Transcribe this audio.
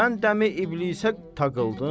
Sən dəm-i İblisə taqıldın?